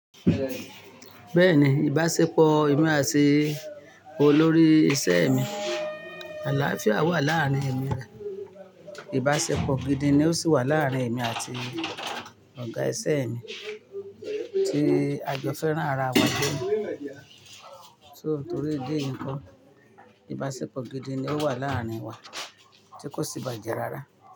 Bẹ́ẹ̀ni, ìbáṣepọ̀ èmi àti olórí iṣẹ́ mi, àlàáfíà wà láàárín èmi rẹ̀. Ìbáṣepọ̀ gidi ni ó sì wà láàárín èmi àti ọ̀gá iṣẹ́ mi tí a jó fẹ́ rán ara wa gbo. So torí ìdí yì nkọ́, ìbáṣepọ̀ gidi ni ó wà láàárín wa tí kò sì bàjẹ́ rárá.